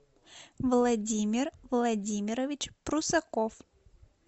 владимир владимирович прусаков